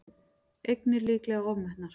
Eignir líklega ofmetnar